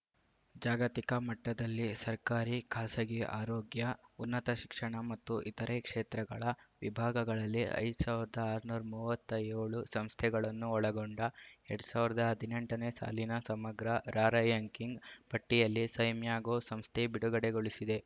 ಜಾಗತಿಕ ಮಟ್ಟದಲ್ಲಿ ಸರ್ಕಾರಿ ಖಾಸಗಿ ಆರೋಗ್ಯ ಉನ್ನತ ಶಿಕ್ಷಣ ಮತ್ತು ಇತರೆ ಕ್ಷೇತ್ರಗಳ ವಿಭಾಗಗಳಲ್ಲಿ ಐದ್ ಸಾವಿರದ ಆರುನೂರ ಮೂವತ್ತ್ಯೋಳು ಸಂಸ್ಥೆಗಳನ್ನು ಒಳಗೊಂಡ ಎರಡ್ ಸಾವಿರದ ಹದಿನೆಂಟು ನೇ ಸಾಲಿನ ಸಮಗ್ರ ರಾರ‍ಯಂಕಿಂಗ್‌ ಪಟ್ಟಿಯನ್ನು ಸೈಮ್ಯಾಗೋ ಸಂಸ್ಥೆ ಬಿಡುಗಡೆಗೊಳಿಸಿದೆ